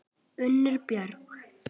Unnur Björg.